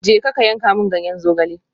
Jeka ka yanka min ganyen zogale.